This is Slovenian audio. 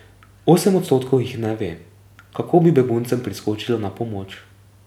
Osem odstotkov jih ne ve, kako bi beguncem priskočilo na pomoč.